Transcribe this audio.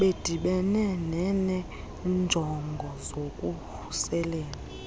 bedibene benenjongo zokuvuselela